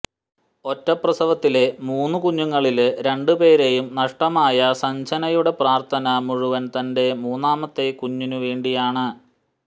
ഒറ്റപ്രസവത്തിലെ മൂന്ന് കുഞ്ഞുങ്ങളില് രണ്ട് പേരെയും നഷ്ടമായ സജ്നയുടെ പ്രാര്ത്ഥന മുഴുവന് തന്റെ മൂന്നാമത്തെ കുഞ്ഞിനുവേണ്ടിയാണ്